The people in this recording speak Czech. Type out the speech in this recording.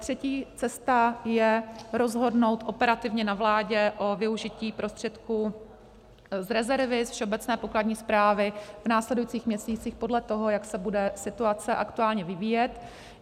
Třetí cesta je rozhodnout operativně na vládě o využití prostředků z rezervy, ze všeobecné pokladní správy, v následujících měsících podle toho, jak se bude situace aktuálně vyvíjet.